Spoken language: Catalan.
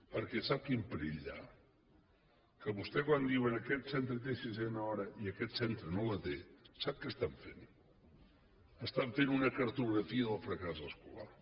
perquè sap quin perill hi ha que vostès quan vostès diuen aquest centre té sisena hora i aquest centre no la té sap què estan fent estan fent una cartografia del fracàs escolar